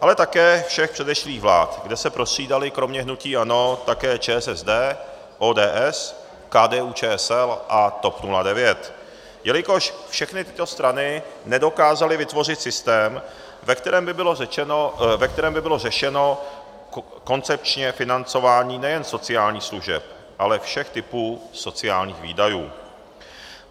ale také všech předešlých vlád, kde se prostřídaly kromě hnutí ANO také ČSSD, ODS, KDU-ČSL a TOP 09, jelikož všechny tyto strany nedokázaly vytvořit systém, ve kterém by bylo řešeno koncepčně financování nejen sociálních služeb, ale všech typů sociálních výdajů.